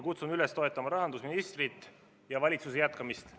Kutsun üles toetama rahandusministrit ja valitsuse jätkamist.